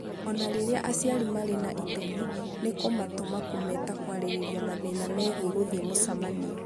O na rĩrĩa aciari marĩ na itemi, nĩ kũmatũma kũmeta kwarĩrĩria mathĩna megiĩ gũthiĩ mĩcemanio.